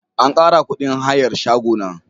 An kara kudin hayar shago na.